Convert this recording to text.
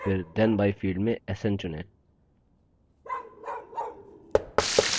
फिर then by field से sn चुनें